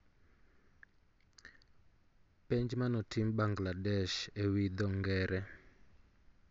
Penj manotim Bangladesh e wi dho ngere